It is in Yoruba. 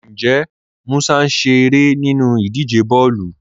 Ǹjẹ́ Mùsà ń ṣẹ̀ ẹ̀rẹ́ nínú ìdíjẹ̀ bọ̀ọ̀lu?